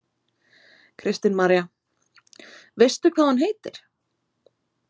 Kristín María: Veistu hvað hún heitir?